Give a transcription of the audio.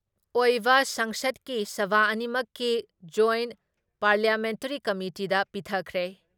ꯑꯣꯏꯕ ꯁꯪꯁꯗꯀꯤ ꯁꯚꯥ ꯑꯅꯤꯃꯛꯀꯤ ꯖꯣꯏꯠ ꯄꯥꯔꯂꯤꯌꯥꯃꯦꯟꯇꯔꯤ ꯀꯃꯤꯇꯤꯗ ꯄꯤꯊꯈ꯭ꯔꯦ ꯫